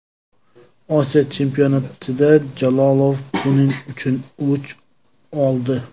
Osiyo chempionatida Jalolov buning uchun o‘ch oldi.